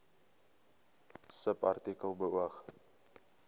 subartikel beoog